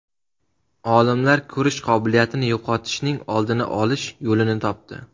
Olimlar ko‘rish qobiliyatini yo‘qotishning oldini olish yo‘lini topdi.